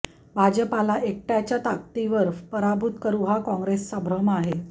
भाजपला एकटय़ाच्या ताकदीवर पराभूत करू हा काँग्रेसचा भ्रम आहे